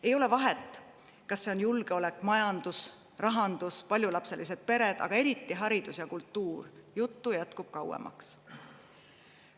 Ei ole vahet, kas on julgeolek, majandus, rahandus, paljulapselised pered, aga eriti haridus ja kultuur – juttu jätkub kauemaks.